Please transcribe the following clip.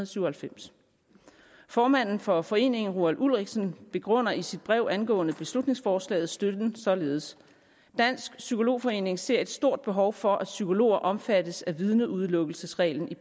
syv og halvfems formanden for foreningen roal ulrichsen begrunder i sit brev angående beslutningsforslaget støtten således dansk psykolog forening ser et stort behov for at psykologer omfattes af vidneudelukkelsesreglen i